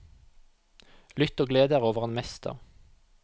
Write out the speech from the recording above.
Lytt og gled dere over en mester.